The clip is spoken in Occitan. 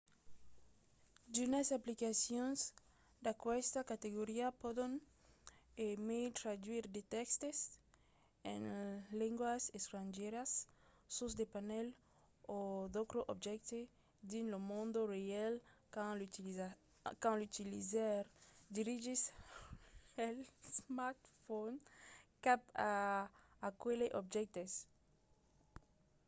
d'unas aplicacions d'aquesta categoria pòdon e mai traduire de tèxtes en lengas estrangièras sus de panèls o d'autres objèctes dins lo mond real quand l'utilizaire dirigís l'smartphone cap a aqueles objèctes